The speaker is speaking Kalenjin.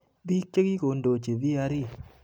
Biik chekikondochi VRE